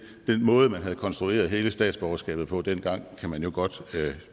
måde man havde konstrueret hele statsborgerskabet på dengang kan man jo godt